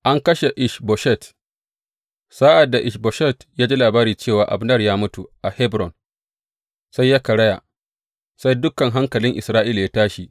An kashe Ish Boshet Sa’ad da Ish Boshet ya ji labari cewa Abner ya mutu a Hebron, sai ya karaya, sai dukan hankalin Isra’ila ya tashi.